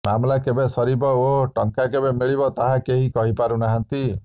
ମାମଲା କେବେ ସରିବ ଓ ଟଙ୍କା କେବେ ମିଳିବ ତାହା କେହି କହିପାରୁନାହାନ୍ତି